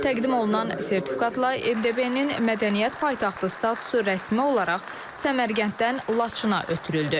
Təqdim olunan sertifikatla MDB-nin mədəniyyət paytaxtı statusu rəsmi olaraq Səmərqənddən Laçına ötürüldü.